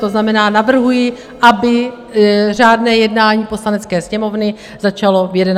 To znamená, navrhuji, aby řádné jednání Poslanecké sněmovny začalo v 11 hodin.